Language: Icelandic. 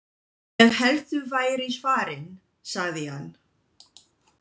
Ég hélt þú værir farinn sagði hann.